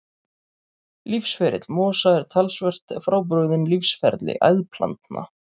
Lífsferill mosa er talsvert frábrugðinn lífsferli æðplantna.